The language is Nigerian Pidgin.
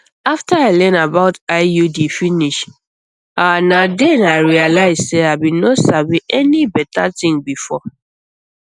after i learn about iud finish ahh na then i realize say i bin no sabi any better thing before